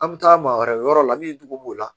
An bɛ taa maa wɛrɛ yɔrɔ la min dogo b'o la